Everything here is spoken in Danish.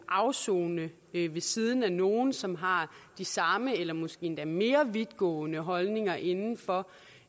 afsone ved siden af nogle som har de samme eller måske endda mere vidtgående holdninger inden for